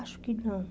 Acho que não.